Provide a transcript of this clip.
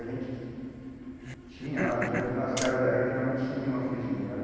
A gente tinha lá, geralmente nas casas da gente geralmente sumia uma frigideira, né?